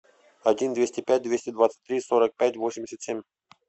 один двести пять двести двадцать три сорок пять восемьдесят семь